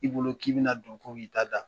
I bolo k'i bɛna na do ko k'i ta da